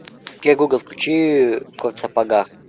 окей гугл включи кот в сапогах